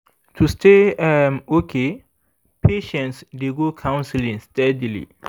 to stay um okay patients dey go counseling steadily